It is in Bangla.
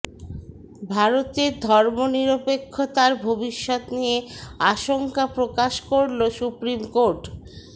ভারতের ধর্মনিরপেক্ষতার ভবিষ্যৎ নিয়ে আশঙ্কা প্রকাশ করল সুপ্রিম কোর্ট